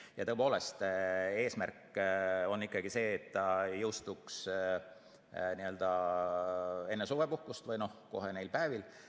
Ja tõepoolest, eesmärk on ikkagi see, et ta jõustuks enne suvepuhkust, kohe neil päevil.